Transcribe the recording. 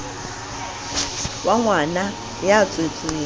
wa ngwana ya tswetsweng ka